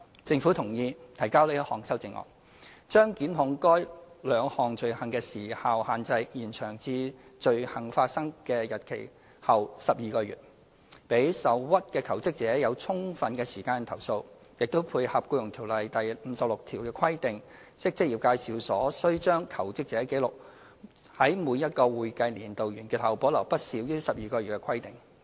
政府同意提交這項修正案，將檢控該兩項罪行的時效限制延長至罪行發生的日期後12個月，讓受屈的求職者有充分時間投訴，亦配合《僱傭條例》第56條的規定，即職業介紹所須將求職者紀錄，在每個會計年度完結後保留不少於12個月的規定。